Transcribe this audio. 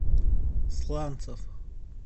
сланцев